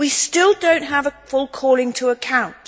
We still do not have a full calling to account.